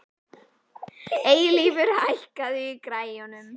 Eilífur, hækkaðu í græjunum.